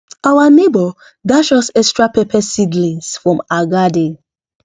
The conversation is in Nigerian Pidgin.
our neighbor dash us extra pepper seedlings from her garden